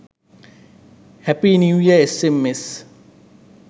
happy new year sms